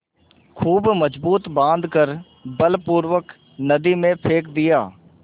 खूब मजबूत बॉँध कर बलपूर्वक नदी में फेंक दिया